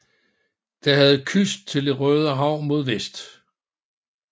Det havde kyst til Det Røde Hav mod vest